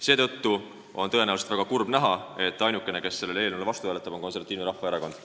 Seetõttu on väga kurb näha, et tõenäoliselt ainuke, kes sellele eelnõule vastu hääletab, on Konservatiivne Rahvaerakond.